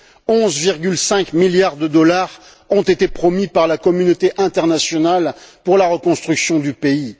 11,5 milliards de dollars ont été promis par la communauté internationale pour la reconstruction du pays.